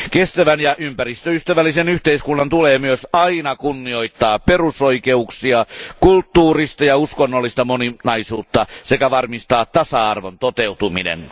Kestävän ja ympäristöystävällisen yhteiskunnan tulee myös aina kunnioittaa perusoikeuksia, kulttuurista ja uskonnollista moninaisuutta sekä varmistaa tasa arvon toteutuminen.